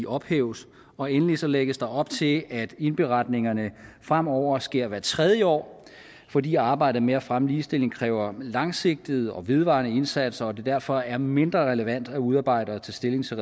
ophæves og endelig så lægges der op til at indberetningerne fremover sker hvert tredje år fordi arbejdet med at fremme ligestilling kræver langsigtede og vedvarende indsatser og at det derfor er mindre relevant at udarbejde og tage stilling til